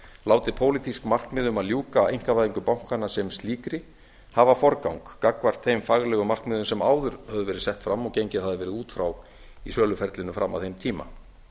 látið pólitísk markmið um að ljúka einkavæðingu bankanna sem slíkri hafa forgang gagnvart þeim faglegu markmiðum sem áður höfðu verið sett fram og gengið hafi verið út frá í söluferlinu fram að þeim tíma